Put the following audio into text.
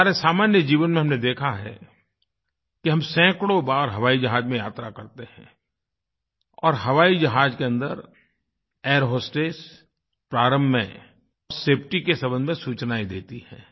हमारे सामान्य जीवन में हमने देखा है कि हम सैकड़ों बार हवाई जहाज में यात्रा करते हैं और हवाई जहाज के अंदर एयर होस्टेस प्रारंभ में सेफटी के संबंध में सूचनाएँ देती है